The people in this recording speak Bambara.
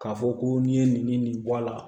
K'a fɔ ko n'i ye nin nin bɔ a la